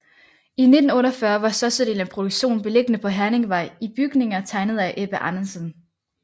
I 1948 var størstedelen af produktionen beliggende på Herningvej i bygninger tegnet af Ebbe Andresen